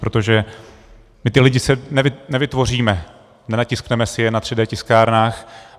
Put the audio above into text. Protože my ty lidi nevytvoříme, nenatiskneme si je na 3D tiskárnách.